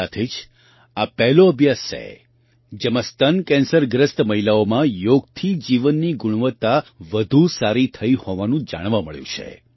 સાથે જ આ પહેલો અભ્યાસ છે જેમાં સ્તન કેન્સરગ્રસ્ત મહિલાઓમાં યોગથી જીવનની ગુણવત્તા વધુ સારી થઈ હોવાનું જાણવા મળ્યું છે